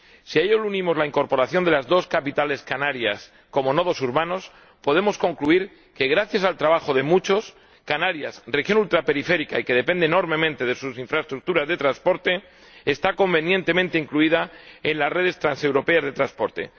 Si a ello le unimos la incorporación de las dos capitales canarias como nodos urbanos, podemos concluir que, gracias al trabajo de muchos, Canarias —región ultraperiférica y que depende enormemente de sus infraestructuras de transporte— está convenientemente incluida en las redes transeuropeas de transporte.